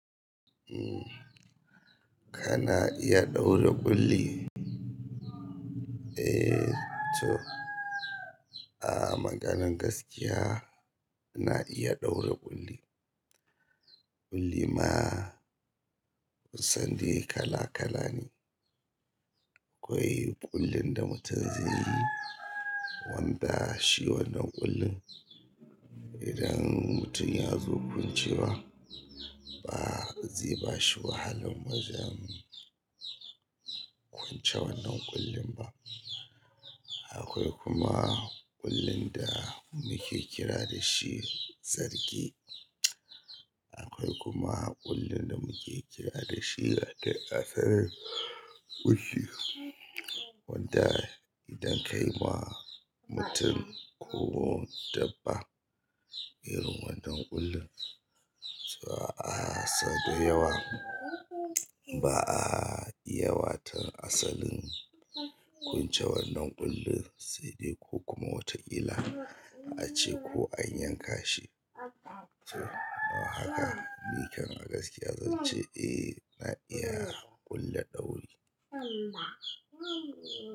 Kana iya ɗaure ƙulli? Eh to, a maganan gaskiya ina iya ɗaura ƙulli. Ƙulli ma ku san dai kala kala ne. Akwai ƙullin da mutum zai yi wanda shi wannan ƙullin idan mutum ya zo kuncewa ba zai bashi wahalan wajen kunce wannan ƙullin ba. Akwai kuma ƙullin da muke kira da shi zarge. Akwai kuma ƙullin da muke kira da shi asalin ƙulli wanda idan ka yi wa mutum ko dabba irin wannan ƙullin, to a sau da yawa ba a iya wato asalin kunce wannan ƙullin sai dai ko kuma wata ƙila a ce ko an yanka shi. To don haka ni kan a gaskiya zan ce eh ina iya ƙulla dauri.